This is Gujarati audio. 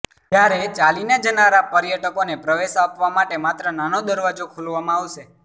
જ્યારે ચાલીને જનારા પર્યટકોને પ્રવેશ આપવા માટે માત્ર નાનો દરવાજો ખોલવામાં આવશે